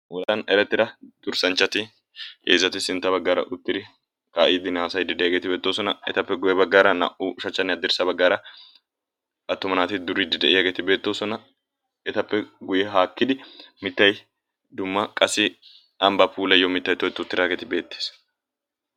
Wolayttan erettidda dursanchchatti heezzatti sintta baggara uttiddi ka'iddinne haasayddi diyagetti beettosona. Ettappe guye baggara na"uushshachchanne hadrssa baggara attumma naatti duriddi diyagetti beettossona. Ettappe guye haakkidi mittay dumma qassi ambba puulayiyo mittay tokketti uttidagge beettes.